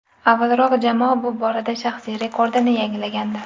Avvalroq jamoa bu borada shaxsiy rekordini yangilagandi .